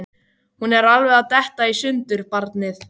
Hún er alveg að detta í sundur, barnið.